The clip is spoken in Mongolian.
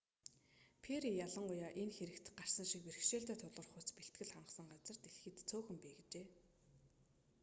перри ялангуяа энэ хэрэгт гарсан шиг бэрхшээлтэй тулгарахуйц бэлтгэл хангасан газар дэлхийд цөөхөн бий гэжээ